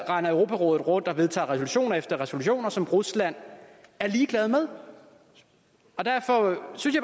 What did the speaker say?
render europarådet rundt og vedtager resolution efter resolution som rusland er ligeglad med derfor synes